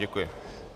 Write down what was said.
Děkuji.